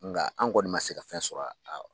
Nga an kɔni man se ka fɛn sɔrɔ a